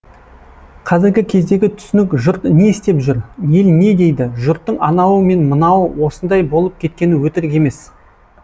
қазіргі кездегі түсінік жұрт не істеп жүр ел не дейді жұрттың анауы мен мынауы осындай болып кеткені өтірік емес